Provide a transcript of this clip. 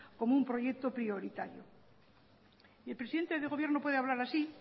como un proyecto prioritario y el presidente de gobierno puede hablar así